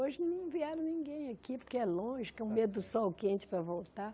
Hoje não vieram ninguém aqui, porque é longe, com medo do sol quente para voltar.